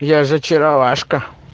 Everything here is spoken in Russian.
я же очаровашка